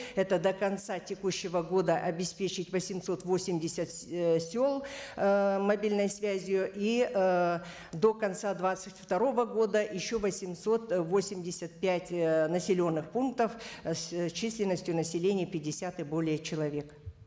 это до конца текущего года обеспечить восемьсот восемьдесят ыыы сел ыыы мобильной связью и ыыы до конца двадцать второго года еще восемьсот восемьдесят пять ыыы населенных пунктов э с численностью населения пятьдесят и более человек